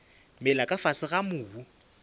mela ka fase ga mobu